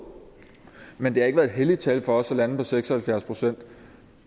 men det har ikke været et helligt tal for os at lande på seks og halvfjerds procent